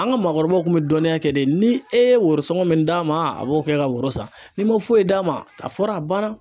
An ka maakɔrɔbaw kun bɛ dɔnniya kɛ de ni e ye woroson min d'a ma, a b'o kɛ ka woro san, n'i ma foyi d'a ma a fɔra a banna!